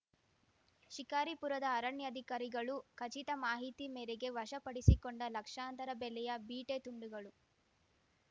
ಶಿಕಾರಿಪುರದ ಅರಣ್ಯಾಧಿಕಾರಿಗಳು ಖಚಿತ ಮಾಹಿತಿ ಮೇರೆಗೆ ವಶಪಡಿಸಿಕೊಂಡ ಲಕ್ಷಾಂತರ ಬೆಲೆಯ ಬೀಟೆ ತುಂಡುಗಳು